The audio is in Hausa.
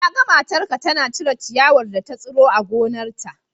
Na ga matarka tana cire ciyawar da ta tsiro a gonarta.